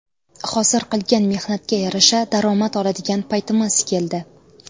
Hozir qilgan mehnatga yarasha daromad oladigan paytimiz keldi.